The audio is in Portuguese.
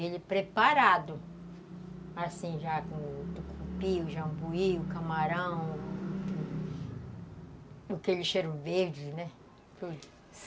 Ele é preparado, assim já com o tucupi, o jambuí, o camarão, aquele cheiro verde, né? Hum.